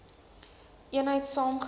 eenheid saam gewerk